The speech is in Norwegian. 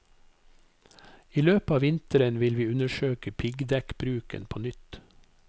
I løpet av vinteren vil vi undersøke piggdekkbruken på nytt.